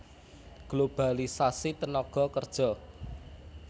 Globalisasi tenaga kerja